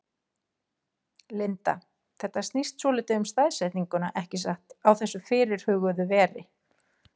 Linda: Þetta snýst svolítið um staðsetninguna ekki satt, á þessu þá fyrirhuguðu veri?